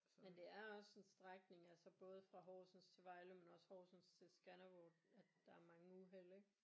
Men det er også en strækning altså både fra Horsens til Vejle men også fra Horsens til Skanderborg at der er mange uheld ik